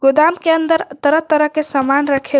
गोदाम के अंदर तरह तरह के सामान रखे हु--